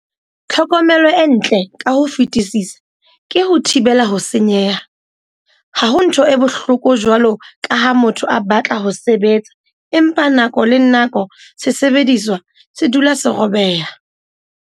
Tlhokomelo e ntle ka ho fetisisa ke ho thibela ho senyeha. Ha ho ntho e bohloko jwalo ka ha motho a batla ho sebetsa empa nako le nako sesebediswa se dula se robeha.